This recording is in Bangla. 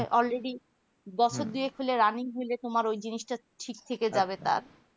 already বশর দুয়েক হলে running হলে তোমার ওই জিনিসটা ঠিক থেকে যাবে তার